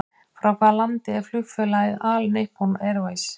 Frá hvaða landi er flugfélagið All Nippon Airways?